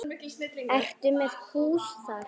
Ertu með hús þar?